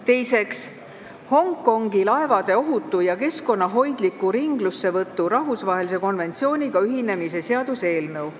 Teiseks, Hongkongi laevade ohutu ja keskkonnahoidliku ringlussevõtu rahvusvahelise konventsiooniga ühinemise seaduse eelnõu.